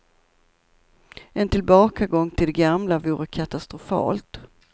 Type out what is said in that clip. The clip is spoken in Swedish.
En tillbakagång till det gamla vore katastrofalt.